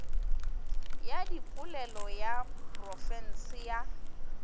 ya dipolelo ya profense ya